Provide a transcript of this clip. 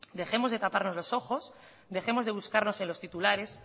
dejemos de taparnos los ojos dejemos de buscarnos en los titulares